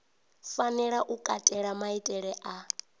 fanela u katela maitele a